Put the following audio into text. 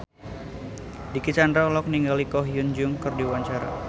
Dicky Chandra olohok ningali Ko Hyun Jung keur diwawancara